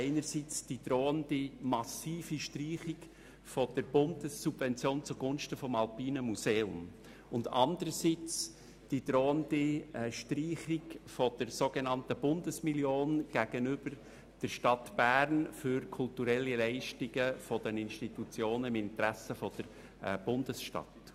einerseits die drohende massive Streichung der Bundessubvention zugunsten des Alpinen Museums und anderseits die drohende Streichung der sogenannten Bundesmillion zuhanden der Stadt Bern, für die kulturellen Leistungen ihrer Institutionen im Interesse der Bundesstadt.